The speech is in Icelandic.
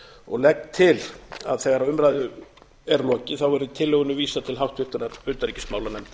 og legg til að þegar umræðu er lokið verði tillögunni vísað til háttvirtrar utanríkismálanefndar